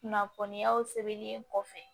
Kunnafoniyaw sɛbɛnlen kɔfɛ